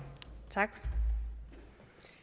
tak